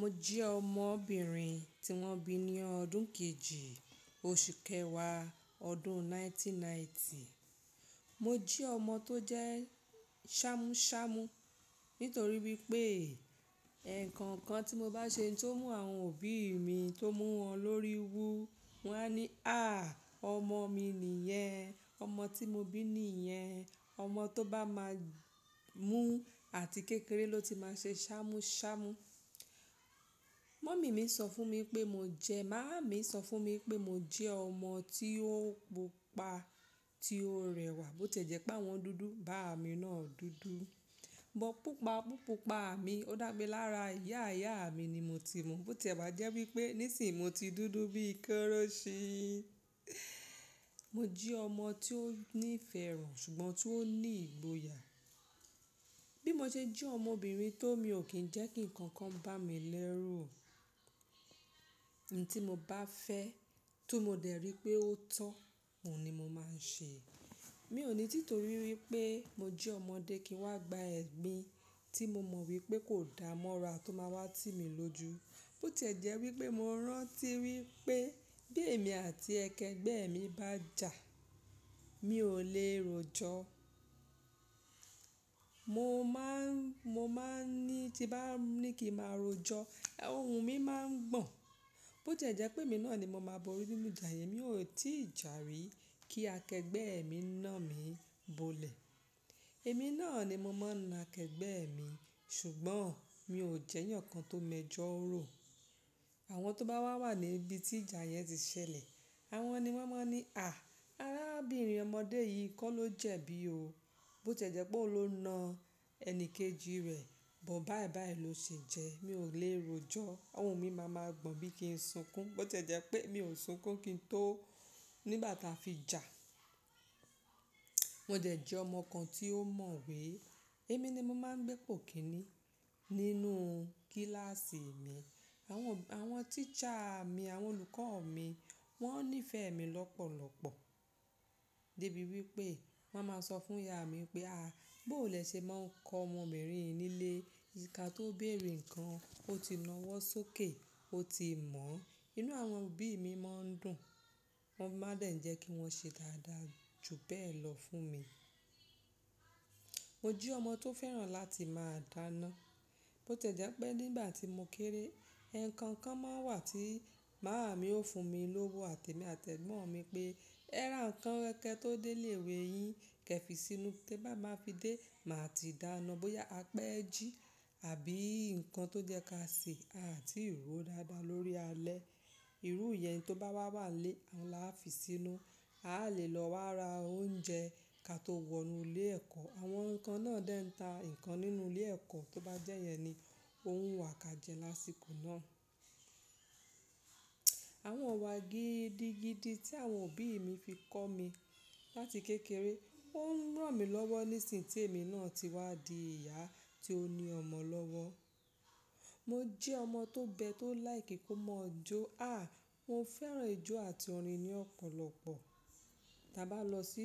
Mo jẹ́ ọmọbìnrin tí wọ́n bí ní ọdún kejì, oṣù kẹwàá, ọdún 1990. Mo jẹ́ ọmọ tó jẹ́ sámúṣámú nítorí wípé, ǹkan kan tí mo bá ṣe tó mú àwọn òbí mi tó mú wọn lórí wu, wọ́n á ní, "à, ọmọ mi nìyẹn, ọmọ tí mo bí nìyẹn". Ọmọ tó bá máa mú àti kékeré ló ti máa ṣe sámúṣámú. Mummy mi sọ fún mi pé mo jẹ, màámi sọ fún mi pé mo jẹ́ ọmọ tí ó pupa, tí ó rẹwà, bó tì e jẹ́ pé wọ́n dúdú, bàámi náà dúdú. Bọ̀ púpàpúpa mi, ó dàmi lára ìyá ìyá mi ni mo ti mọ̀, bó tì ẹ̀ má jẹ́ wípé nísinmo ti dúdú bíi kọ́rọ́ṣí. Mo jẹ́ ọmọ tó ní ìfẹ́ràn ṣùgbọ́n tó ní ìgboyà. Bí mo ṣe jẹ́ ọmọbìnrin tó mi ò kín ń jẹ́ kí ǹkan kan bá mi lẹ́rù. I n tí mo bá fẹ́ tún mo dẹ̀ rí pé ó tọ́, òun ni mo máa ń ṣe. Mi ò ní títorí wípé mo jẹ́ ọmọdé kí wọ́n gba ẹ̀mi tí mo mọ̀ wípé kò dáa mọ́ra tó máa wá tímí lójú. Bó tì e jẹ́ wípé mo rántí wípé bí èmi àti akẹgbẹ́ mi bá jà, mi ò lè rojọ. Mo máa ń, mo máa ń ní tí bá ní kí màá rojọ, ohùn mi máa ń gbọ̀n. Bó ti e jẹ́ pé èmi náà ni mo máa bọri nínú ìjà yẹn, mi ò tí ì jà rí kí akẹgbẹ́ mi na mí bọlẹ̀. Èmi náà ni mo máa na akẹgbẹ́ mi ṣùgbọ́n mi ò jẹ́yàn kan tó mọ ẹjọ́ ró. Àwọn tó bá wà wà ní ibi tí ìjà yẹn ti ṣẹlẹ̀, àwọn ni wọ́n máa ní, "à, arábìnrin ọmọdé yìí kọ́ ló jẹ̀bi ó. Bó tì e jẹ́ pé òun ló na ẹni kejì rẹ̀, bó bá bá ẹ ló ṣe jẹ́." Mi ò lè rojọ, ohùn mi máa ma gbọ̀n bí i kín n sunkún. Bó tì jẹ́ pé mi ò sunkún kí n tó nígbà tí a fi jà. Mo dẹ̀ jẹ́ ọmọ kan tí ó mọ̀ we. Èmi ni mo máa ń gbé po kìni nínú kílàsì mi. Àwọn, àwọn teacher mi, àwọn olùkọ́ mi wọ́n nífẹ̀ẹ́ mi lọ́pọ̀lọ́pọ̀. Débi wípé wọ́n máa ma sọ fún ìyá mi pé, "à, bó lè ṣe máa ń kọ́ ọmọbìnrin yìí nílé. Ká tó béèrè nǹkan, ó ti nawọ́ sókè, ó ti mọ̀." Inú àwọn òbí mi máa ń dùn. Wọ́n máa dé ń jẹ́ kí wọ́n ṣe dáadáa jù bẹ́ẹ̀ lọ fún mi. Mo jẹ́ ọmọ tó fẹ́ràn láti máa dáná. Bó tì e jẹ́ pé nígbà tí mo kéré, ǹkan kan máa ń wà tí màmá mi ó fún mi lówó, àti mi àti ẹ̀gbọ́n mi pé, "ẹ́ra nǹkan kẹ́kẹ́ tó dé ilé ìwé yín, kẹ fi sínú. Tí bá máa fi dé, màá ti dáná bóyá apẹ́jí àbí nǹkan tó jẹ́ káàṣì àti ró dáadáa lórí alẹ́. Irú ìyẹn tó bá wà wà nlé, oun là fi sínú. A lè lọ wá ra oúnjẹ ka tó wọnú ilé ẹ̀kọ́." Àwọn nǹkan náà dà ń ta nǹkan nínú ilé ẹ̀kọ́, tó bá jẹ́ yẹn ni ò wu wà ká jẹ lásìkò náà. Àwọn ìwà gidi gidi tí àwọn òbí mi fi kọ́ mi láti kékeré, ó ń ràn mí lọ́wọ́ nísin tí èmi náà ti wá di ìyá tí ó ní ọmọ lọ́wọ́. Mo jẹ́ ọmọ tó gbẹ tó láì kí kó mọ̀ jó. À, mo fẹ́ràn ijó àti orin ní ọ̀pọ̀lọpọ̀. Ta bá lọ sí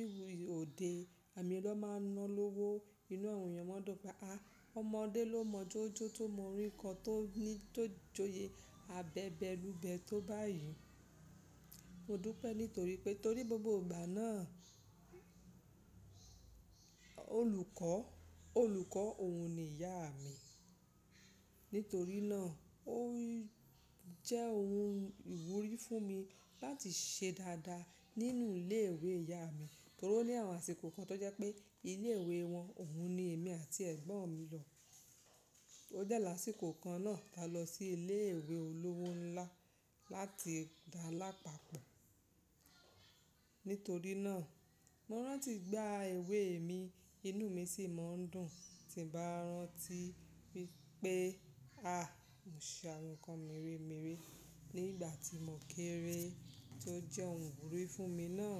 òde, èmi ló máa ń ná lówó. Inú àwọn èèyàn máa dùn pé, à, ọmọdé ló mojo jo tó mọ orin ko tó ní, tó joyè abẹbẹ lúbẹ̀ tó bá yìn. Mo dùn pẹ́ nítorí pé torí gbogbo ìgbà náà, olùkọ́, olùkọ́ òun ni ìyá mi. Nítorí náà, ó jẹ́ ohun ìwúrí fún mi láti ṣe dáadáa nínú ilé ìwé ìyá mi. Torí ó ní àwọn àsìkò kan tó jẹ́ pé ilé ìwé wọn, òun ni èmi àti ẹ̀gbọ́n mi lọ. Ó dẹ́ lásìkò kan náà tí a lọ sí ilé ìwé olówó ńlá láti dá lápapọ̀. Nítorí náà, mo rántí gbá ewé mi, inú mi sì máa ń dùn tí bá rántí wípé, à, mo ṣe àwọn nǹkan merèmeré nígbà tí mo kéré tó jẹ́ ohun ìwúrí fún mi náà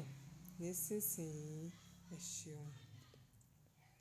nísinsìnyí. Ẹ̀ṣeun.